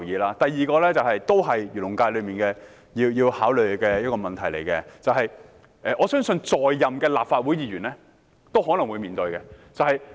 另一點也是關於漁農界的一個問題，我相信其他在任的立法會議員也可能會面對。